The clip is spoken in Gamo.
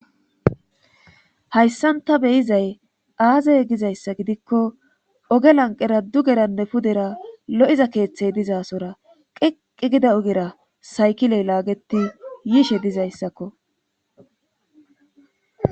hayssan ta beyizay aazey gizayssa gidikko oge lanqera dugeranne pudera lo7iza keeththey dizasora qeqi gida ogera saykiley laageti yiishe dizayssakko